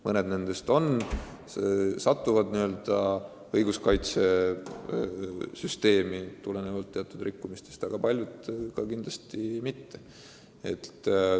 Mõned nendest noortest rikuvad seadust ja satuvad õiguskaitsjate huviorbiiti, aga paljud muidugi mitte.